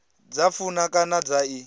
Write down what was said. dza funa kana dza i